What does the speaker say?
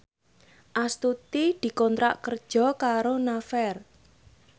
Astuti dikontrak kerja karo Naver